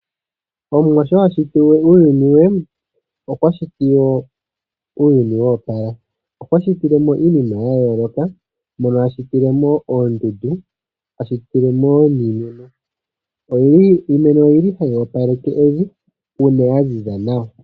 Omuwa shona shiti uuyuni we okwa shiti wo uuyuni wa opala. Okwa shitile mo iinima ya yooloka. Mono a shitile mo oondundu, a shitile mo wo iimeno. Iimeno oyi li hayi opaleke olundji uuna ya ziza nawa.